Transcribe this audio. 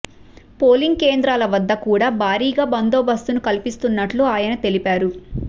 polling కేంద్రాల వద్ద కూడా భారీ బందోబస్తును కల్పిస్తున్నట్లు ఆ యన తెలిపారు